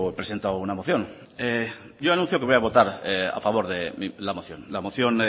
presentado una moción yo anuncio que voy a votar a favor de la moción la moción